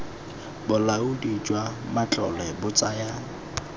bolaodi jwa matlole bo tsaya